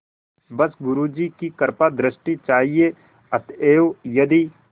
बस गुरु जी की कृपादृष्टि चाहिए अतएव यदि